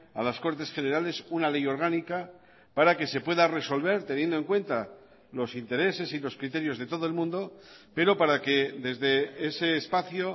a las cortes generales una ley orgánica para que se pueda resolver teniendo en cuenta los intereses y los criterios de todo el mundo pero para que desde ese espacio